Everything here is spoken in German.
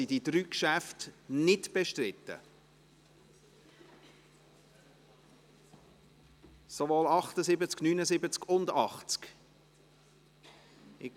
Sind diese drei Geschäfte nicht bestritten, sowohl die Traktanden 78, 79 als auch das Traktandum 80?